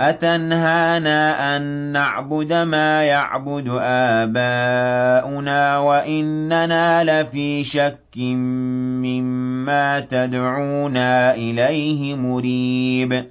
أَتَنْهَانَا أَن نَّعْبُدَ مَا يَعْبُدُ آبَاؤُنَا وَإِنَّنَا لَفِي شَكٍّ مِّمَّا تَدْعُونَا إِلَيْهِ مُرِيبٍ